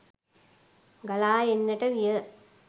ගලා එන්නට විය.